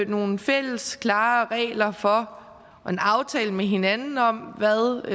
nogle fælles klare regler for og en aftale med hinanden om hvad